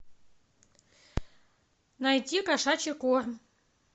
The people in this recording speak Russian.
найти кошачий корм